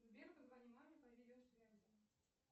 сбер позвони маме по видео связи